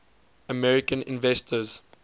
american inventors